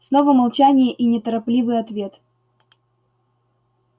снова молчание и неторопливый ответ